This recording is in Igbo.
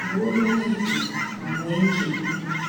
“Nwee obi dị jụụ ma nwee nchekwube.”